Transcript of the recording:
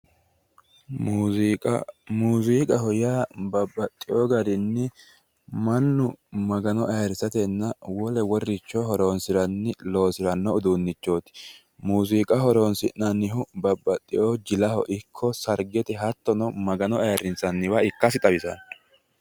Muuziiqa muuziiqaho yaa babaxxewo garinni mannu magano ayyrisatenna wole wolericho horonsi'ranni loosiranno uduunnichooti, muuziqa horonsi'nannihu babbaxxewo jilaho ikko sargete hattono magano ayyirissanniwa ikkasi xawissanno.